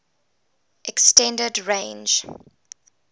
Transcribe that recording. s extended range